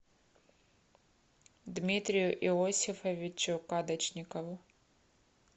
дмитрию иосифовичу кадочникову